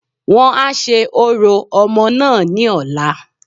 Wọ́n a se orò omoo náà ní ọ̀la